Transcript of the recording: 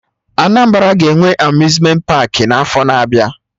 Anambra ga-enwe Amuzmenti paakị n'afọ na-abịa